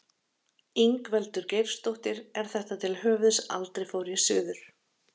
Ingveldur Geirsdóttir: Er þetta til höfuðs Aldrei fór ég suður?